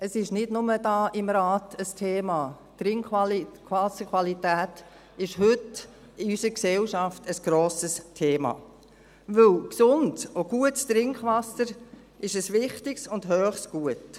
Sie ist nicht nur hier im Rat ein Thema: Die Trinkwasserqualität ist heute in unserer Gesellschaft ein grosses Thema, denn gesundes und gutes Trinkwasser ist ein wichtiges und hohes Gut.